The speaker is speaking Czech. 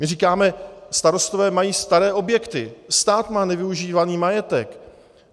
My říkáme: starostové mají staré objekty, stát má nevyužívaný majetek.